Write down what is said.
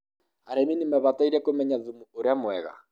arĩmi nĩ mabataire kũmenya thumu ũria mwega